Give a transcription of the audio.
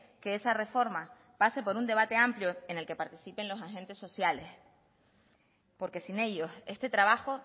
que esa reforma pase por un debate amplio en el que participen los agente sociales porque sin ellos este trabajo